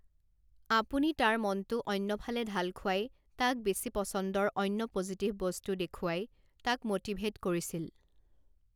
আপুনি তাৰ মনটো অন্যফালে ঢাল খুৱাই তাক বেছি পছন্দৰ অন্য প'জিটিভ বস্তু দেখুৱাই তাক ম'টিভেট কৰিছিল।